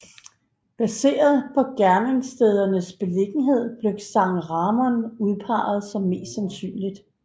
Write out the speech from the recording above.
Baseret på gerningsstedernes beliggenhed blev San Ramon udpeget som mest sandsynligt